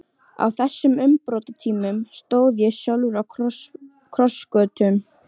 Á þessum umbrotatímum stóð ég sjálfur á krossgötum.